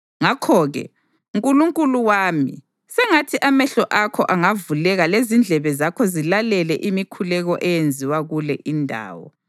Ngakho-ke, Nkulunkulu wami sengathi amehlo akho angavuleka lezindlebe zakho zilalele imikhuleko eyenziwa kule indawo.